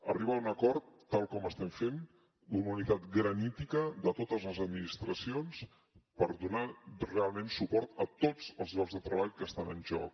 arribar a un acord tal com estem fent d’una unitat granítica de totes les administracions per donar realment suport a tots els llocs de treball que estan en joc